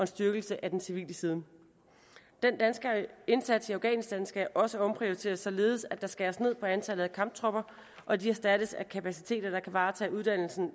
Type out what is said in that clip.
styrkelse af den civile side den danske indsats i afghanistan skal også omprioriteres således at der skæres ned på antallet af kamptropper og de erstattes af kapaciteter der kan varetage uddannelsen